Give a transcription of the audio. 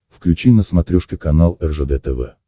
включи на смотрешке канал ржд тв